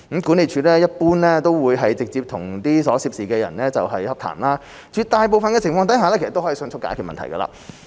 管理處一般會直接與所涉人士洽談，絕大部分情況下可迅速解決問題。